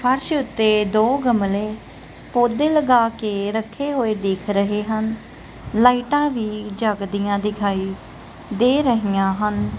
ਫ਼ਰਸ਼ ਉੱਤੇ ਦੋ ਗਮਲੇ ਪੌਧੇ ਲਗਾਕੇ ਰੱਖੇ ਹੋਏ ਦਿੱਖ ਰਹੇ ਹਨ ਲਾਈਟਾਂ ਵੀ ਜੱਗਦੀਆਂ ਦਿਖਾਈ ਦੇ ਰਹੀਆਂ ਹਨ।